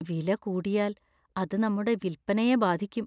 വില കൂടിയാല്‍ അത് നമ്മുടെ വില്‍പ്പനയെ ബാധിക്കും.